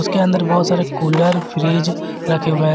उसके अंदर बहुत सारे कुलर फ्रिज रखे हुए हैं।